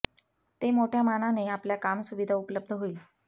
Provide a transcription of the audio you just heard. ते मोठ्या मानाने आपल्या काम सुविधा उपलब्ध होईल